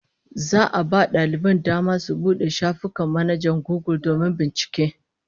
Za'a a ba daliban dama su bude shafukan manhajar Gugul domin bincike